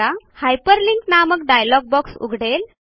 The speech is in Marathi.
हायपरलिंक नामक डायलॉग बॉक्स उघडेल